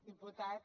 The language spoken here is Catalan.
diputat